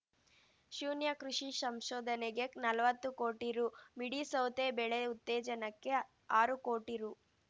ಶೂನ್ಯ ಕೃಷಿ ಸಂಶೋಧನೆಗೆ ನಲ್ವತ್ತು ಕೋಟಿ ರೂ ಮಿಡಿ ಸೌತೆ ಬೆಳೆ ಉತ್ತೇಜನಕ್ಕೆ ಆರು ಕೋಟಿ ರೂ